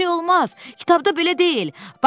Kitabda belə deyil.